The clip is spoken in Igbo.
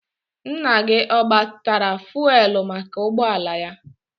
Nna gị ọ gbatara fụelụ maka ụgbọala ya?